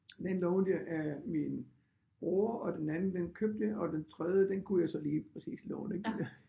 Den lånte jeg af min bror og den anden den købte jeg og den tredje den kunne jeg så lige præcis låne ik